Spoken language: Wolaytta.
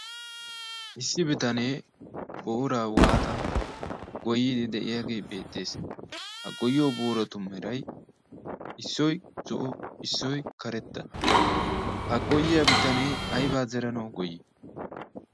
issi bitanee bitanee booraa waaxxi goyiidi beetees. ha goyiyo booratu meray issoy karetta issoy zo'o ha goyiya bitamnee aybaa zeranawu goyii?